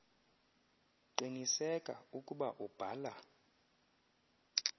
qiniseka ukuba ubhala